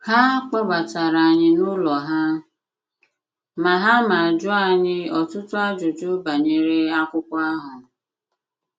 Ha kpọbatara anyị n’ụlọ ha ma ha ma jụọ anyị ọtụtụ ajụjụ banyere akwụkwo ahụ